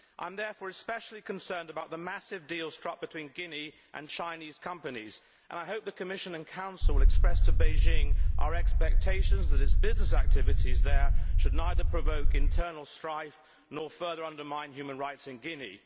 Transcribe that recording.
I am therefore especially concerned about the massive deal struck between Guinea and Chinese companies, and I hope that the Commission and Council will express to Beijing our expectations that its business activities there should neither provoke internal strife nor further undermine human rights in Guinea.